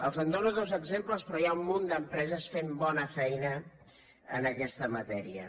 els en dono dos exemples però hi ha un munt d’empreses fent bona feina en aquesta matèria